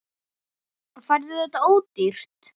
Færðu þetta ódýrt?